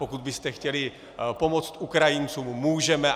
Pokud byste chtěli pomoct Ukrajincům, můžeme.